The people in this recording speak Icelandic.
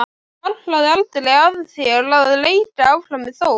Hvarflaði aldrei að þér að leika áfram með Þór?